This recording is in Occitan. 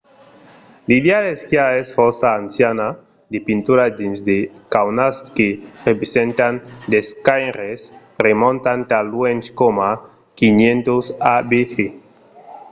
l'idèa d'esquiar es fòrça anciana — de pinturas dins de caunas que representan d'esquaires remontan tan luènh coma 5000 abc!